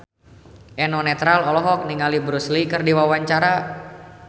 Eno Netral olohok ningali Bruce Lee keur diwawancara